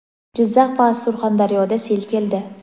Jizzax va Surxondaryoda sel keldi.